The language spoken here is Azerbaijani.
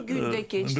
Gün də keçdi.